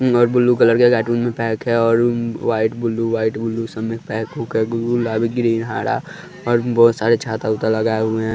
और blue colour के cartoon में पैक है और वाइट ब्लू वाइट ब्लू सब में पैक ओके गुलाबी ग्रीन हरा और बहुत सारे छाता उता लगाए हुए हैं।